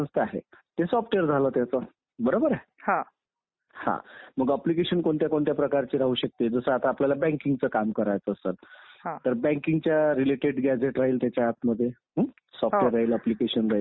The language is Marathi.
म्हणजे अप्रत्यक्षरित्या राष्ट्रपतीला आपणच निवडून दिल्यासारखं आहे. पण ते प्रत्यक्ष नाहीत ते अप्रत्यक्षरित्या कारण का आपण भारतातल्या लोकशाहीच्या रूपानं आणि मतदानाच्या रूपानं निवडणूक प्रक्रियेचे दोन प्रकार पाडू शकतो.